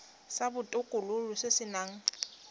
sa botokololo se se nang